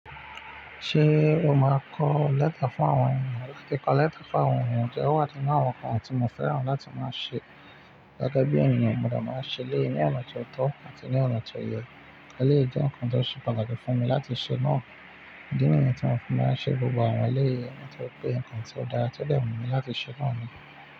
Ṣé o máa kọ lẹ́tà fún àwọn ènìyàn? Láti kọ lẹ́tà fún àwọn ènìyàn jẹ́ awọ́n nkàn ti mo fẹ́ràn láti máa ṣe. Gẹ́gẹ́ bí ènìyàn, mo de máa ṣe léyìí ní ọ̀nà tó ọ́tọ́ àti ní ọ̀nà tó yẹ. Elèyi jẹ́ nǹkan tó ṣẹ pàtàkì fún mi láti ṣe náà. Idí ni yen tí mo fi máa ṣe gbogbo àwọn ẹlẹ́yìí nitori pé nǹkan tí ó dára tí dẹ̀ wù mí láti ṣe náà ni.